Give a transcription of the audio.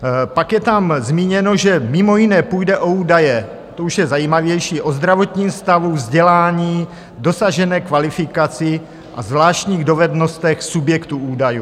Pak je tam zmíněno, že mimo jiné půjde o údaje, to už je zajímavější, "o zdravotním stavu, vzdělání, dosažené kvalifikaci a zvláštních dovednostech subjektů údajů".